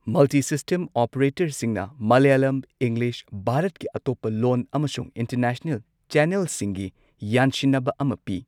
Multi system ꯑꯣꯄꯔꯦꯇꯔꯁꯤꯡꯅ Malayalam, English, ꯚꯥꯔꯠꯀꯤ ꯑꯇꯣꯞꯄ ꯂꯣꯟ ꯑꯃꯁꯨꯡ ꯏꯟꯇꯔꯅꯦꯁꯅꯦꯜ ꯆꯦꯅꯦꯜꯁꯤꯡꯒꯤ ꯌꯥꯟꯁꯤꯟꯅꯕ ꯑꯃ ꯄꯤ꯫